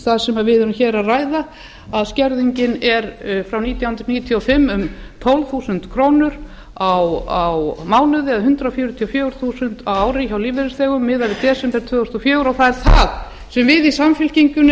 það sem við ræðum hér að skerðingin frá nítján hundruð níutíu og fimm er um tólf þúsund krónur á mánuði eða hundrað fjörutíu og fjögur þúsund á ári hjá lífeyrisþegum miðað við desember tvö þúsund og fjögur og það er það sem við í samfylkingunni